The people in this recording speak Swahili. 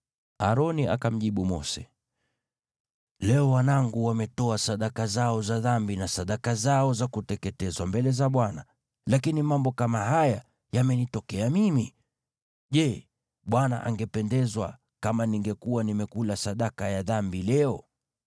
Aroni akamjibu Mose, “Leo wanangu wametoa sadaka zao za dhambi na sadaka zao za kuteketezwa mbele za Bwana , lakini mambo kama haya yamenitokea mimi. Je, Bwana angependezwa kama ningekuwa nimekula sadaka ya dhambi leo?”